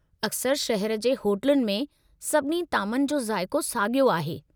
अक्सरि शहर जी होटलुनि में, सभिनी तामनि जो ज़ाइक़ो साॻियो आहे।